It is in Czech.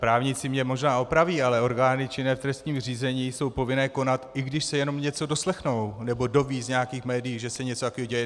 Právníci mě možná opraví, ale orgány činné v trestním řízení jsou povinné konat, i když se jenom něco doslechnou nebo dozvědí z nějakých médií, že se něco takového děje.